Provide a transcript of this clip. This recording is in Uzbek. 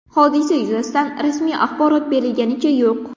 Hodisa yuzasidan rasmiy axborot berilganicha yo‘q.